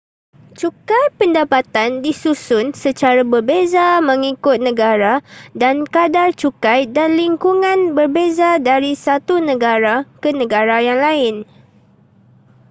cukai pendapatan disusun secara berbeza mengikut negara dan kadar cukai dan lingkungan berbeza dari satu negara ke negara yang lain